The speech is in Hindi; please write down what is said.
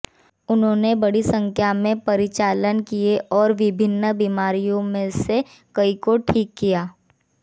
उन्होंने बड़ी संख्या में परिचालन किए और विभिन्न बीमारियों में से कई को ठीक किया